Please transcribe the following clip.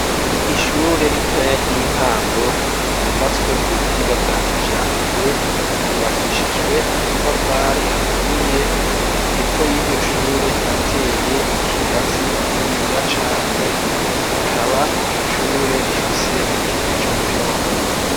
Ishure ritoya ry'intango ryubatswe ku buhinga bwa kijambere, yubakishijwe amatafari aturiye hepfo y'iryoshure harateye ikigazi kininiya cane rikaba iryoshure rifise n'ikibuga c'umupira w'amaguru.